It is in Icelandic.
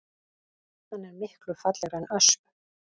Hann er miklu fallegri en ösp